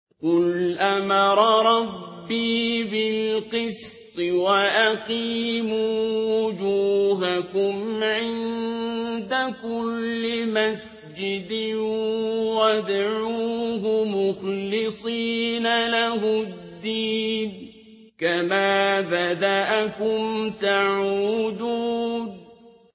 قُلْ أَمَرَ رَبِّي بِالْقِسْطِ ۖ وَأَقِيمُوا وُجُوهَكُمْ عِندَ كُلِّ مَسْجِدٍ وَادْعُوهُ مُخْلِصِينَ لَهُ الدِّينَ ۚ كَمَا بَدَأَكُمْ تَعُودُونَ